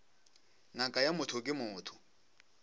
ngaka ya motho ke motho